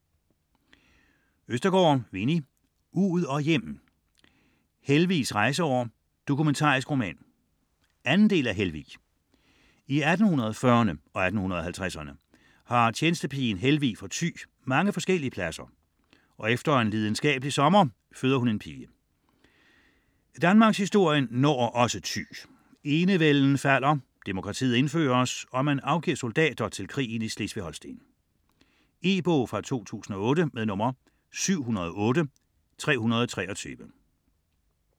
Østergaard, Winni: Ud og hjem: Helvigs rejseår: dokumentarisk roman 2. del af Helvig. I 1840erne og 1850erne har tjenestepigen Helvig fra Thy mange forskellige pladser, og efter en lidenskabelig sommer føder hun en pige. Også danmarkshistorien når Thy - enevælden falder, demokratiet indføres, og man afgiver soldater til krigen i Slesvig-Holsten. E-bog 708323 2008.